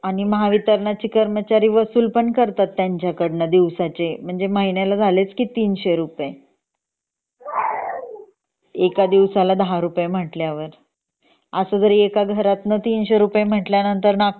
आणि महावित्रणाचे कर्मचारी वसूल पण करतात त्यांचकडून दिवसाचे म्हणजे महिन्याला झालेच की 300 रुपये एका दिवसाला दहा रुपये म्हटल्यावर असा जर एका घरत्न 300 रुपये म्हणला